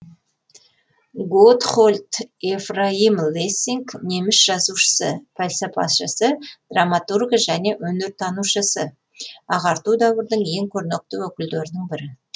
готтһольд ефраим лессинг неміс жазушысы пәлсапашысы драматургі және өнертанушысы ағарту дәуірінің ең көрнекті өкілдерінің бірі